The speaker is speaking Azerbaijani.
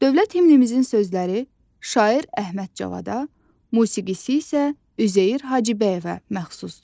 Dövlət himnimizin sözləri şair Əhməd Cavada, musiqisi isə Üzeyir Hacıbəyova məxsusdur.